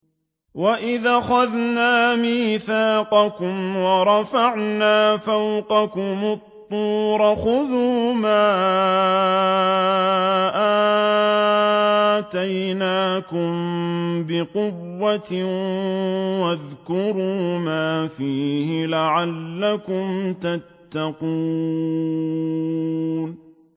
وَإِذْ أَخَذْنَا مِيثَاقَكُمْ وَرَفَعْنَا فَوْقَكُمُ الطُّورَ خُذُوا مَا آتَيْنَاكُم بِقُوَّةٍ وَاذْكُرُوا مَا فِيهِ لَعَلَّكُمْ تَتَّقُونَ